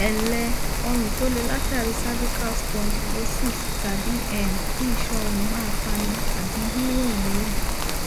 ẹǹlẹ ọrùn tó le látàrí cervical spondylosis tàbí um kí isan ọrùn máa fani àbí yínrùnyínrùn